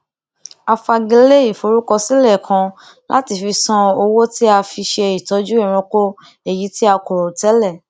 a fagilé ìforúkọsílẹ kan láti fi san owó tí a fi ṣe ìtọjú ẹranko èyí tí a kò rò tẹlẹ